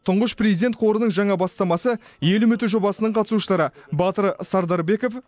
тұңғыш президент қорының жаңа бастамасы ел үміті жобасының қатысушылары батыр сардарбеков